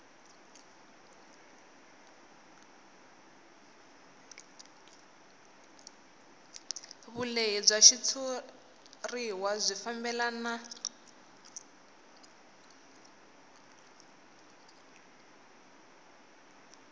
vulehi bya xitshuriwa byi fambelana